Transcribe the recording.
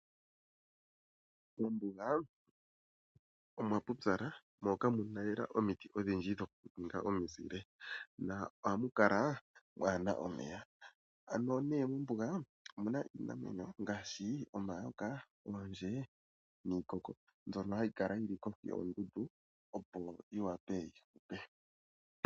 Mombuga omwa pupyala mo ka muna lela omiti odhindji dhoku ninga omizile. Oha mu kala kaa mu na omeya. Omu na iinamwenyo ngaashi omayoka oondje niikoko na ohayi kala kohi yomamanya nenge kohi yoondundu opo yi wape yi hupe.